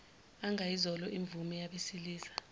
angayizolo imvunge yabesilisa